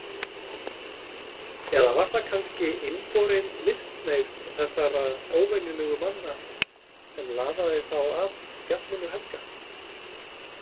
Eða var það kannski innborin listhneigð þessara óvenjulegu manna sem laðaði þá að Fjallinu helga?